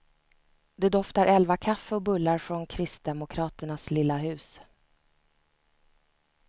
Det doftar elvakaffe och bullar från kristdemokraternas lilla hus.